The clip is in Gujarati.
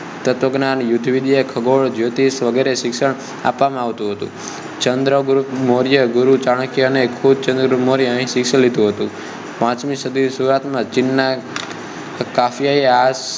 તત્વજ્ઞાન યુદ્ધવિદ્યા ખગોળ જ્યોતિષ વગેરેનું શિક્ષણ આપવામાં આવતું હતું ચંદ્રગુપ્ત મોર્ય ગુરુ ચાણક્યે અને ખુદ ચંદ્રગુપ્ત મૌર્યેનું અહીં શિક્ષણ લીધું હતું પાંચમી સદી ની શુરુવાત માં ચીન નાં ફાહિયાને